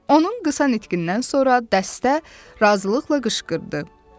Onun qısa nitqindən sonra dəstə razılıqla qışqırdı.